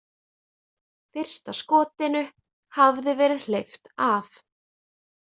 Fyrsta skotinu hafði verið hleypt af.